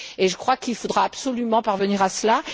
Et je crois qu'il faudra absolument parvenir à cela.